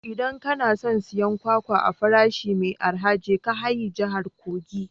Idan kana son siyan kwakwa a farashi mai arha, je ka haye jihar kogi